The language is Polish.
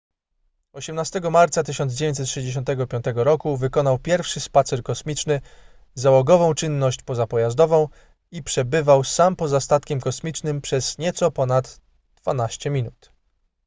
18 marca 1965 roku wykonał pierwszy spacer kosmiczny załogową czynność pozapojazdową” i przebywał sam poza statkiem kosmicznym przez nieco ponad dwanaście minut